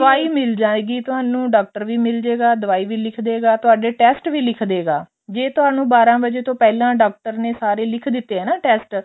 ਦਵਾਈ ਮਿਲ ਜਾਵੇਗੀ ਤੁਹਾਨੂੰ ਡਾਕਟਰ ਵੀ ਮਿਲ ਜਾਵੇਗਾ ਦਵਾਈ ਵੀ ਲਿੱਖਦੇਗਾ ਤੁਹਾਡੇ test ਵੀ ਲਿੱਖ ਦੇਗਾ ਜੇ ਤੁਹਾਨੁੰ ਬਾਰਾਂ ਵਜੇ ਤੋਂ ਪਹਿਲਾ ਡਾਕਟਰ ਨੇ ਸਾਰੇ ਲਿੱਖ ਦਿੱਤੇ ਆ ਨਾ test